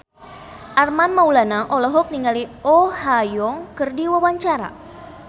Armand Maulana olohok ningali Oh Ha Young keur diwawancara